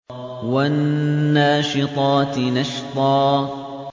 وَالنَّاشِطَاتِ نَشْطًا